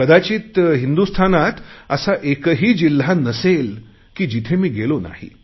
कदाचित हिंदुस्थानात असा एकही जिल्हा नसेल की जिथे मी गेलो नाही